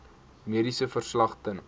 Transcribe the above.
mediese verslag ten